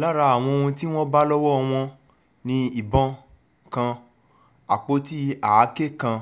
lára àwọn ohun tí wọ́n bá lọ́wọ́ wọn ni ìbọn kan àpótí àáké kan